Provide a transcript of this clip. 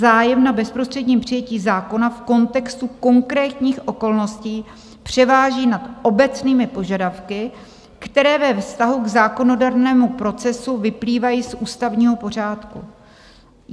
Zájem na bezprostředním přijetí zákona v kontextu konkrétních okolností převáží nad obecnými požadavky, které ve vztahu k zákonodárnému procesu vyplývají z ústavního pořádku."